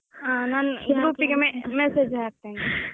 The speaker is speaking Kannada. ಹಾ ನಾನು group ಗೆ messege ಹಾಕ್ತೇನೆ.